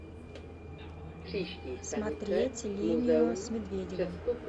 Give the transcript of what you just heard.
смотреть линию с медведевым